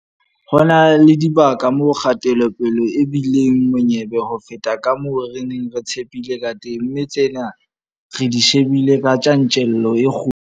Ho na le dibaka moo kgatelopele e bi leng monyebe ho feta ka moo re neng re tshepile kateng, mme tsena re di shebile ka tjantjello e kgolo.